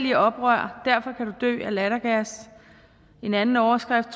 i oprør derfor kan du dø af lattergas en anden overskrift